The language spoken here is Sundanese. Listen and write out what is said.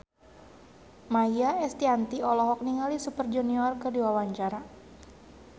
Maia Estianty olohok ningali Super Junior keur diwawancara